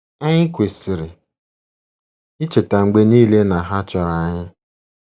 Anyị kwesịrị icheta mgbe niile na ha chọrọ anyị.